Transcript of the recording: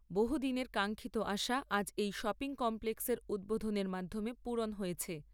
বহুদিনের কাঙ্ক্ষিত আশা আজ এই শপিং কমপ্লেক্সের উদ্বোধনের মাধ্যমে পূরণ হয়েছে।